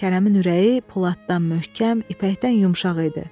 Kərəmin ürəyi poladdan möhkəm, ipəkdən yumşaq idi.